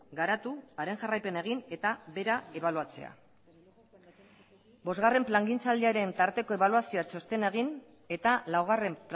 garatu haren jarraipena egin eta bera ebaluatzea bosgarren plangintzaldiaren tarteko ebaluazio txostena egin eta laugarren